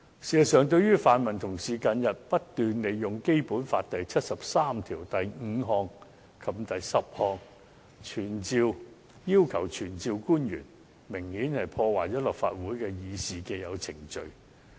事實上，泛民同事近日不斷利用《基本法》第七十三條第五項及第十項，要求傳召官員，明顯破壞了立法會議事的既有程序。